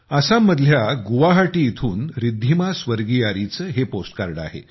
आसाममधल्या गुवाहाटी इथून रिद्धिमा स्वर्गियारीचे हे पोस्ट कार्ड आहे